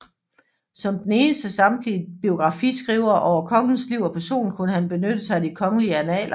Som den eneste samtidige biografiskriver over kongens liv og person kunne han benytte sig af de kongelige annaler